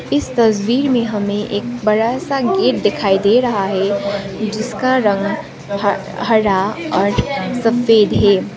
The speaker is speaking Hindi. इस तस्वीर में हमें एक बड़ा सा गेट दिखाई दे रहा है जिसका रंग हरा और सफेद है।